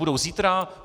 Budou zítra?